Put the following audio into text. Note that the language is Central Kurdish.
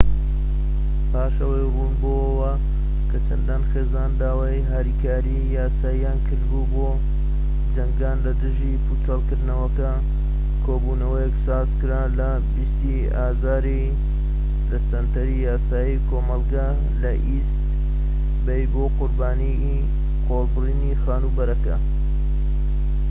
پاش ئەوەی ڕوون بۆوە کە چەندان خێزان داوای هاریکاریی یاساییان کردبوو بۆ جەنگان لە دژی پێچۆڵکردنەکە، کۆبوونەوەیەک سازکرا لە ٢٠ ی ئازاردا لە سەنتەری یاسای کۆمەڵگە لە ئیست بەی بۆ قوربانیانی قۆڵبرینی خانوبەرەکە